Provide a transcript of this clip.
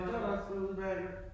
Men det var da også udemærket